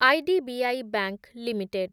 IDBI bank limited